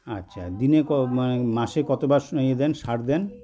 আচ্ছা দিনে ক মানে মাসে কতবার ইয়ে দেন সার দেন